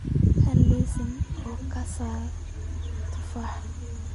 hel liiska oo ka saar tufaaxa